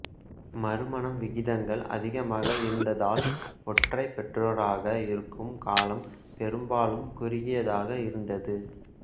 மறுமணம் விகிதங்கள் அதிகமாக இருந்ததால் ஒற்றை பெற்றோராக இருக்கும் காலம் பெரும்பாலும் குறுகியதாக இருந்தது